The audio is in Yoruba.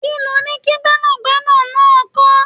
Kí loni kí Gbẹ́nàgbẹ́nà náà kọ̀?